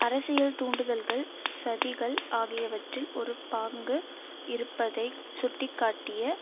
அரசியல் தூண்டுதல்கள் சதிகள் ஆகியவற்றில் ஒரு பாங்கு இருப்பதைச் சுட்டி காட்டிய